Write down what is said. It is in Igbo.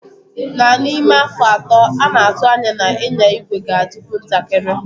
Na ime afọ atọ, a na-atụ anya na ịnya igwe ga adikwu ntakiri.